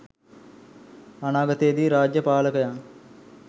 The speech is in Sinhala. අනාගතයේදී රාජ්‍ය පාලකයන්